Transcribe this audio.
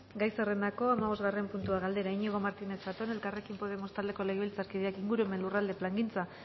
gai zerrendako hamabosgarren puntua galdera iñigo martínez zatón elkarrekin podemos taldeko legebiltzarkideak ingurumen lurralde plangintza